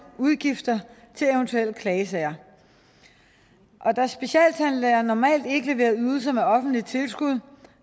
udgifter til eventuelle klagesager da specialtandlæger normalt ikke leverer ydelser med offentligt tilskud